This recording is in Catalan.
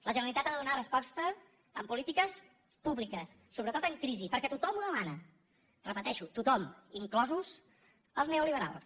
la generalitat ha de donar resposta amb polítiques públiques sobretot en crisi perquè tothom ho demana ho repeteixo tothom inclosos els neoliberals